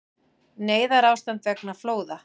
Neyðarástand vegna flóða